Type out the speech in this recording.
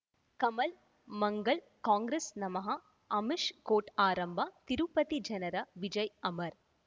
ಕಮಲ್ ಮಂಗಳ್ ಕಾಂಗ್ರೆಸ್ ನಮಃ ಅಮಿಷ್ ಕೋರ್ಟ್ ಆರಂಭ ತಿರುಪತಿ ಜನರ ವಿಜಯ್ ಅಮರ್